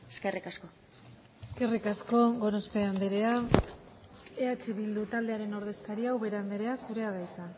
eskerrik asko eskerrik asko gorospe andrea eh bildu taldearen ordezkaria ubera andrea zurea da hitza